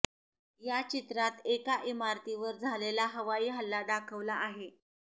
या चित्रात एका इमारतीवर झालेला हवाई हल्ला दाखवला आहे